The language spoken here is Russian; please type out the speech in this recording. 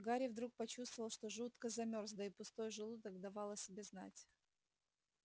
гарри вдруг почувствовал что жутко замёрз да и пустой желудок давал о себе знать